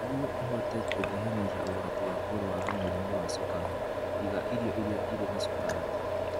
Nĩguo ũhote kũnyihanyihia ũgwati wa kũrũara mũrimũ wa cukari, iga irio iria irĩ na cukari.